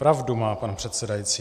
Pravdu má pan předsedající.